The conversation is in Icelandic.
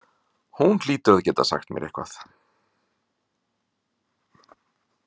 Hún hlýtur að geta sagt mér eitthvað.